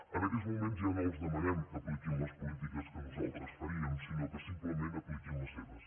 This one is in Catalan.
en aquests moments ja no els demanem que apliquin les polítiques que nosaltres faríem sinó que simplement apliquin les seves